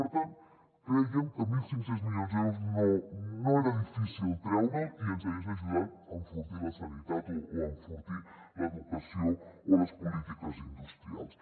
per tant crèiem que mil cinc cents milions d’euros no era difícil treure’ls i ens hagués ajudat a enfortir la sanitat o a enfortir l’educació o les polítiques industrials